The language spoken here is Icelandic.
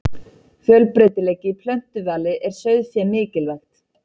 Fjölbreytileiki í plöntuvali er sauðfé mikilvægt.